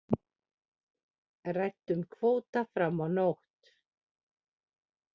Ræddu um kvóta fram á nótt